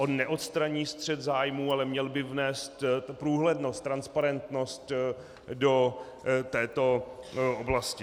On neodstraní střet zájmů, ale měl by vnést průhlednost, transparentnost do této oblasti.